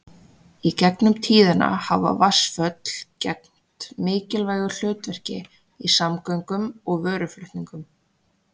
Í gegnum tíðina hafa vatnsföll gegnt mikilvægu hlutverki í samgöngum og vöruflutningum.